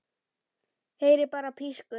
Heyri bara pískur.